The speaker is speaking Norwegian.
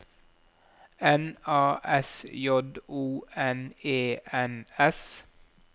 N A S J O N E N S